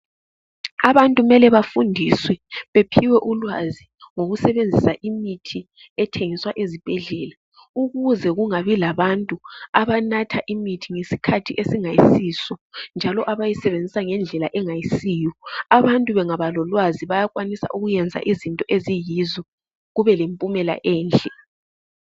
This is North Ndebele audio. Abantu mele bafundiswe baphiwe ulwazi ngokusebenzisa imithi ethengiswa ezibhedlela, ukuze kungabilabantu abanatha imithi ngesikhathi esingayisiso. Njalo abayisebenzisa ngendlela engayisiyo. Abantu bangaba lolwazi bayakwanisa ukwenza izinto eziyizo kube lempumela enhle.